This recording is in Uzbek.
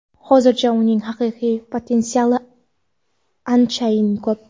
Hozircha uning haqiqiy potensiali anchayin ko‘p.